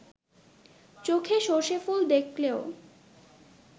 চোখে সর্ষে ফুল দেখলেও